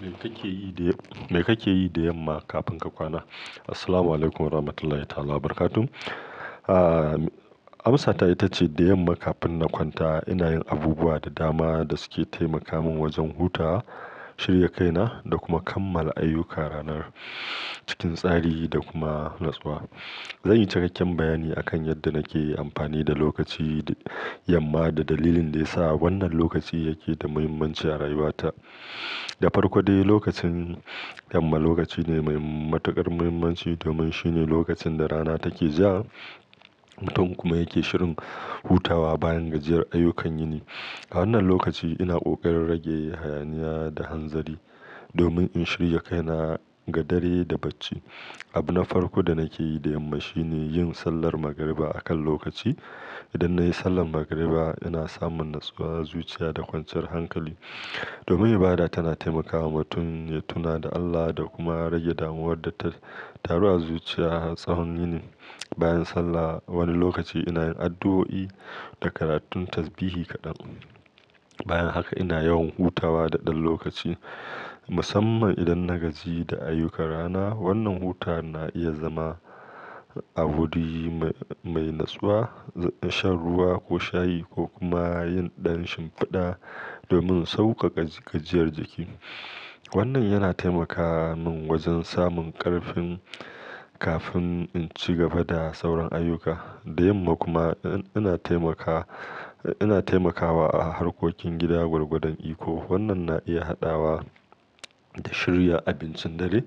Me kake yi da, me kake yi da yamma kafin ka kwana? Assalamu alaikum warahmatullahi wabarakatuh. Ah, amsata ita ce da yamma kafin na kwanta ina yin abubuwa da dama da suke taimaka min wajen hutawa, shirya kaina da kuma kammala ayyuka ranar cikin tsari da kuma natsuwa. Zanyi cikakken bayani akan yadda nake amfani da lokaci da yamma da dalilin da yasa wannan lokaci yake da muhimmanci a rayuwata. Da farko dai lokacin yamma lokaci ne mai matuƙar muhimmanci domin shine lokacin da rana take ja mutum kuma yake shirin hutawa bayan gajiyar ayyukan yini. A wannan lokaci ina ƙoƙarin rage hayaniya da hanzari domin in shirya kaina ga dare da bacci. Abu na farko da nake yi da yamma shine yin sallar magariba a kan lokaci. Idan nayi sallar magariba ina samun natsuwa, zuciya da kwanciyar hankali. Domin ibada tana taimakawa mutum ya tuna da Allah da kuma rage damuwar da ta taru a zuciya tsahon yini. Bayan sallah wani lokaci ina yin addu'o'i da karatun tasbihi kaɗan. Bayan haka ina yawan hutawa da ɗan lokaci musamman idan na gaji da ayyukan rana. Wannan hutawa na iya zama a wuri mai, mai natsuwa, shan ruwa ko shayi ko kuma yin ɗan shimfiɗa domin sauƙaƙa gajiyar jiki. Wannan yana taimaka min wajen samun ƙarfi kafin in ci gaba da sauran ayyuka. Da yamma kuma ina taimaka, ina taimakawa a harkokin gida gwargwadon iko. Wannan na iya haɗawa da shirya abincin dare,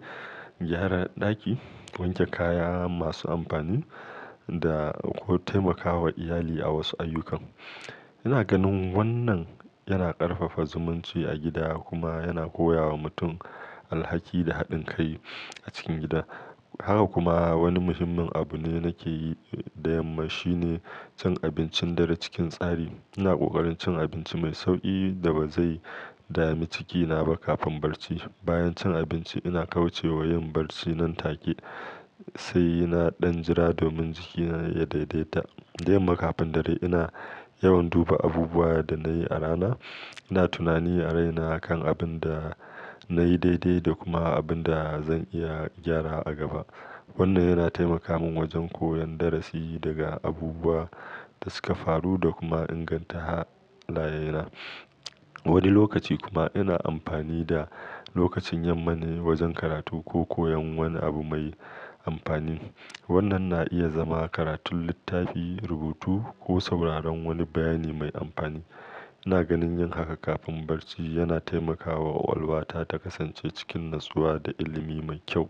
gyara ɗaki, wanke kaya masu amfani da ko taimakawa iyali a wasu ayyukan. Ina ganin wannan yana ƙarfafa zumunci a gida kuma yana koya wa mutum alhaki da haɗin kai a cikin gida. Haka kuma wani muhimmin abu ne nake yi da yamma shine cin abincin dare cikin tsari. Ina ƙoƙarin cin abinci mai sauƙi da ba zai dami cikina ba kafin barci. Bayan cin abinci ina kauce wa yin barci nan take sai na ɗan jira domin jikina ya daidaita. Da yamma kafin dare ina yawan duba abubuwan da nayi a rana. Ina tunani a raina kan abin da nayi daidai da kuma abin da zan iya gyara a gaba. Wannan yana taimaka min wajen koyan darasi daga abubuwa da suka faru da kuma inganta halayena. Wani lokaci kuma ina amfani da lokacin yamma ne wajen karatu ko koyon wani abu mai amfani. Wannan na iya zama karatun littafi, rubutu ko sauraron wani bayani mai amfani. Ina ganin yin haka kafin barci yana taimakawa kwakwalwata ta kasance cikin natsuwa da ilimi mai kyau.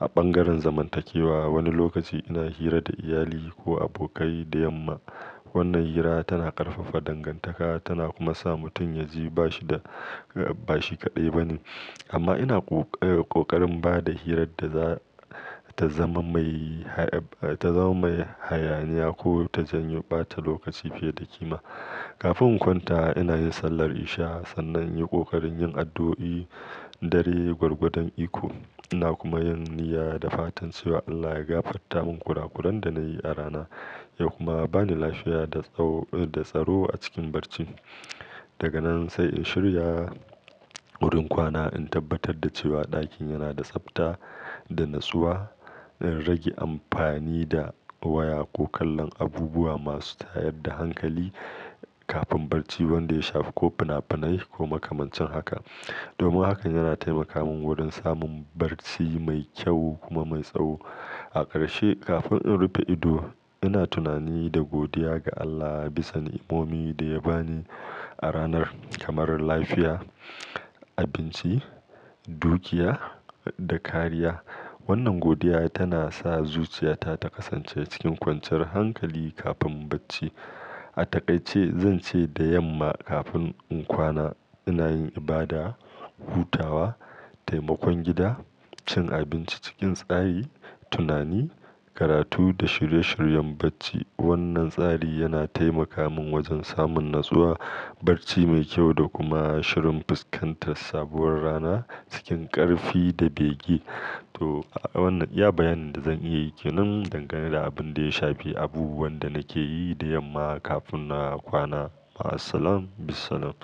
A bangaren zamantakewa wani lokaci ina hira da iyali ko abokai da yamma. Wannan hira tana ƙarfafa dangantaka tana kuma sa mutum ya ji bashi da, bashi kaɗai bane. Amma ina ƙoƙa-ƙoƙarin ba da hirar da za ta zama mai, ta zama mai hayaniya ko ta janyo ɓata lokaci fiye da kima. Kafin in kwanta ina yin sallar isha'i sannan in yi ƙoƙarin yin addu'o'i dare gwargwadon iko. Ina kuma yin niyya da fatan cewa Allah ya gafarta min kurakuran da nayi a rana ya kuma bani lafiya da tsaro a cikin barcin. Daga nan sai in shirya wurin kwana in tabbatar da cewa ɗakin yana da tsafta da nitsuwa. Ina rage amfani da waya ko kallon abubuwa masu tayar da hankali kafin barci wanda ya shafi ko fina-finai ko makamancin haka. Domin hakan yana taimaka min wurin samun barci mai kyau kuma mai tsaho. A ƙarshe kafin in rufe ido ina tunani da godiya ga Allah bisa ni'imomin da ya bani a ranar kamar lafiya, abinci, dukiya da kariya. Wannan godiya tana sa zuciyata ta kasance cikin kwanciyar hankali kafin bacci. A taƙaice zan ce da yamma kafin in kwana ina yin ibada, hutawa, taimakon gida, cin abinci cikin tsari, tunani, karatu da shirye-shiryen bacci. Wannan tsari yana taimaka min wajen samun natsuwa, barci mai kyau da kuma shirin fuskantar sabuwar rana cikin ƙarfi da bege. To wannan iya bayanin da zan iya yi ke nan dangane da abin da ya shafi abubuwan da nake yi da yamma kafin na kwana. Ma'asalama, bisalam.